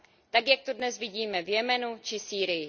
Tak, jak to dnes vidíme v Jemenu či Sýrii.